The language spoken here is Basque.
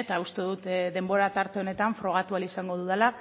eta uste dut denbora tarte honetan frogatu ahal izango dudala